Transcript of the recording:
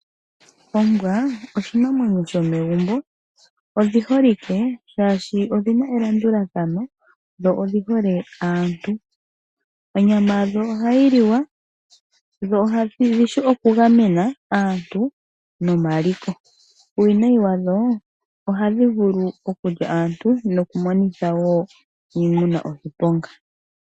Ombwa oshinamwemyo shomegumbo. Odhi holike shaashi odhina elandulathano, dho odhi hole aantu. Onyama yadho ohayi liwa, dho odhi shi oku gamena aantu nomaliko. Uuwinayi wadho ohadhi vulu okulya aantu nokumona woo iimuna oshiponga.